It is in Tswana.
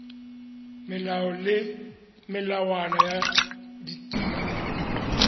melao le melawana ya ditiro